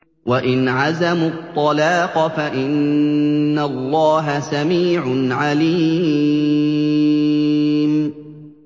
وَإِنْ عَزَمُوا الطَّلَاقَ فَإِنَّ اللَّهَ سَمِيعٌ عَلِيمٌ